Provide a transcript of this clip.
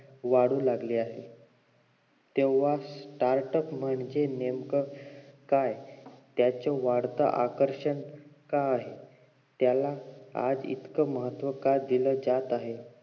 वाढू लागली आहे तेव्हा startup म्हणजे नेमकं काय त्याच वाढत आकर्षण का आहे यालाच आज इतकं महत्व का दिल जात आहे